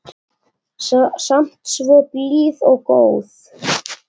Samt svo blíð og góð.